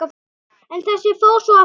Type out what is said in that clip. En þessi fór svo austur.